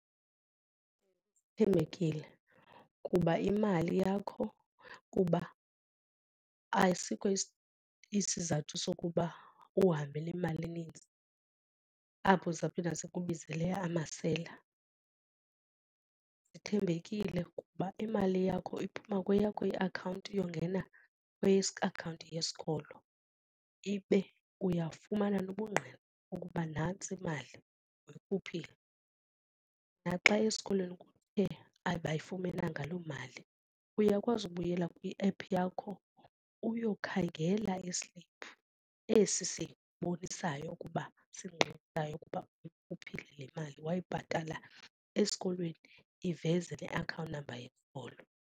Athembekile kuba imali yakho kuba asikho isizathu sokuba uhambe nemali eninzi apho izawuphinda zikubizele amasela. Zithembekele kuba imali yakho iphuma kweyakho iakhawunti yokungena kwiakhawunti yesikolo ibe uyafumana nobungqina ukuba nantsi imali uyikhuphile. Naxa eskolweni kuthe abayifumenanga loo mali uyakwazi ukubuyela kwi-app yakho uyokhangela isiliphu esi sibonisayo ukuba singqinayo ukuba uyikhuphile le mali wayibhatala esikolweni iveze le account number yesikolo.